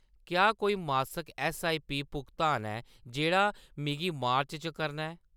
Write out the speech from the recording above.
क्या कोई मासक ऐस्सआईपी भुगतान ऐ जेह्‌‌ड़ा मिगी मार्च च करना ऐ ?